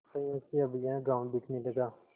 संयोग से अब यह गॉँव बिकने लगा